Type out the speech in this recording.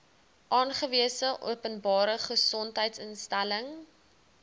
aangewese openbare gesondheidsinstelling